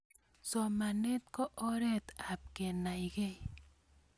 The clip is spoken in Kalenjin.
somanet ko oret ap kenaikei